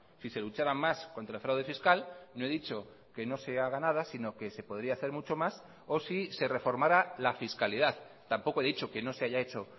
si se luchara más contra el fraude fiscal no he dicho que no se haga nada sino que se podría hacer mucho más o si se reformará la fiscalidad tampoco he dicho que no se haya hecho